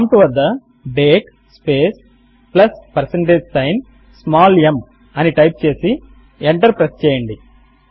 prompt వద్ద date space plus percentage sign small m అని type చేసి ఎంటర్ ప్రెస్ చేయండి